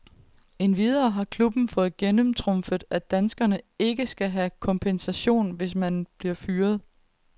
Endvidere har klubben fået gennemtrumfet, at danskeren ikke skal have kompensation, hvis han bliver fyret.